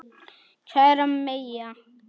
Kæra Mæja.